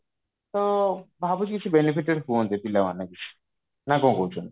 ତ ଭାବୁଛି କିଛି benefited ହୁଅନ୍ତି ପିଲା ମାନେ ବି ନା କଣ କହୁଛନ୍ତି